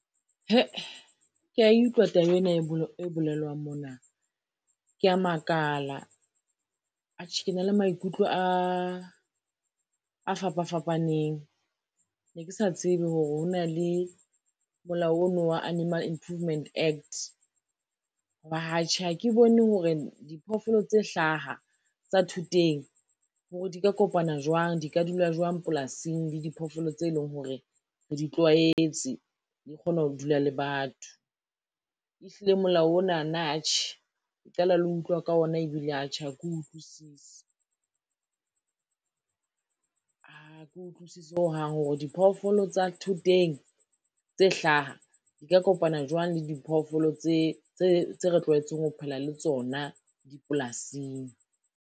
Ke ya e utlwa taba ena e bolelwang mona, ke ya makala. Atjhe ke na le maikutlo a fapa fapaneng, ne ke sa tsebe hore ho na le molao ono wa Animal Improvement Act, ho ba atjhe ha ke bone hore diphoofolo tse hlaha tsa thoteng hore di ka kopana jwang, di ka dula jwang polasing le diphoofolo tse leng hore, re di tlwaetse di kgona ho dula le batho. Ehlile molao onana atjhe ke qala le ho utlwa ka ona ebile atjhe ha ke utlwisise, ha ke utlwisisi hohang hore diphoofolo tsa thoteng tse hlaha di ka kopana jwang le diphoofolo tse re tlwaetseng ho phela le tsona dipolasing.